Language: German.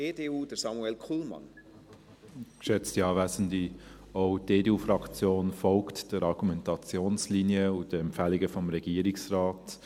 Auch die EDU-Fraktion folgt der Argumentationslinie und den Empfehlungen des Regierungsrates.